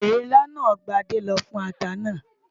Ìrinlá ni Gbádé lò fún ata náà.